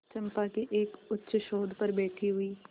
चंपा के एक उच्चसौध पर बैठी हुई